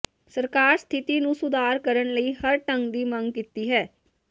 ਸਰਕਾਰ ਸਥਿਤੀ ਨੂੰ ਸੁਧਾਰ ਕਰਨ ਲਈ ਹਰ ਢੰਗ ਵਿੱਚ ਮੰਗ ਕੀਤੀ ਹੈ